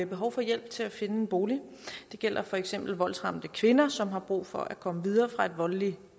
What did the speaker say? behov for hjælp til at finde en bolig det gælder for eksempel voldsramte kvinder som har brug for at komme videre fra et voldeligt